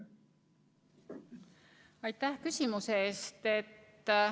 Aitäh küsimuse eest!